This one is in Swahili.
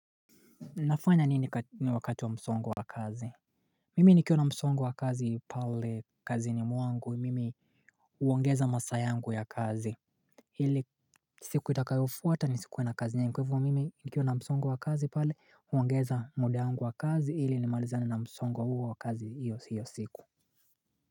Nafanya nini wakati wa msongo wa kazi Mimi nikiwa na msongo wa kazi pale kazi ni mwangu mimi huongeza masaa yangu ya kazi ili siku itakayofuata nisikuwe na kazi nyingi kwa hivo mimi nikiwa na msongo wa kazi pale uongeza muda wangu wa kazi ili nimalizane na msongo huo wa kazi hiyo hiyo siku.